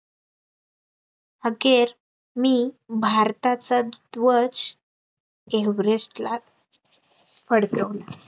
अखेर मी भारताचा ध्वज एव्हरेस्टला फडकवला